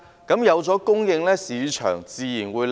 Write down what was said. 只要有供應，市場租金自然會回落。